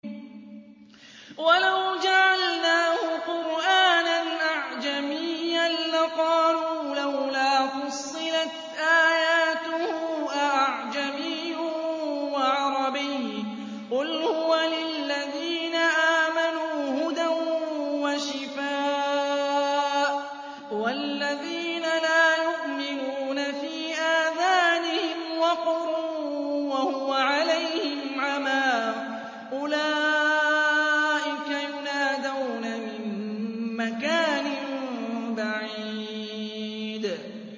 وَلَوْ جَعَلْنَاهُ قُرْآنًا أَعْجَمِيًّا لَّقَالُوا لَوْلَا فُصِّلَتْ آيَاتُهُ ۖ أَأَعْجَمِيٌّ وَعَرَبِيٌّ ۗ قُلْ هُوَ لِلَّذِينَ آمَنُوا هُدًى وَشِفَاءٌ ۖ وَالَّذِينَ لَا يُؤْمِنُونَ فِي آذَانِهِمْ وَقْرٌ وَهُوَ عَلَيْهِمْ عَمًى ۚ أُولَٰئِكَ يُنَادَوْنَ مِن مَّكَانٍ بَعِيدٍ